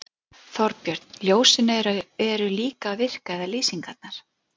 Þorbjörn: Ljósin eru líka að virka eða lýsingarnar?